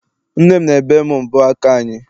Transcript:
Nne m na-ebe m mbọ aka anyị.